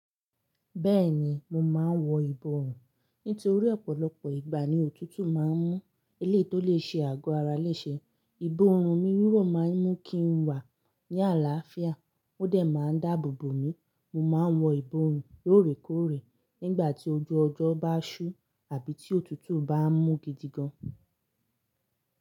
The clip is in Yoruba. Bẹ́ẹ̀ni, mo máa ń wọ ìbọrùn. Nítorí ọ̀pọ̀lọpọ̀ ìgbà ni òtútù máa ń mú eléyii tó lè ṣe àgọ́ ara léṣe. Ìbọrùn mi lilo máa ń mú kí n wà ní àlàáfíà, ó dẹ̀ máa ń dáàbòbò mi. Mo máa ń wọ ìbọrùn lóòrèkóòrè nígbà tí ojú ọjọ́ bá ṣú àbí tí òtútù bá ń mú gidi gan.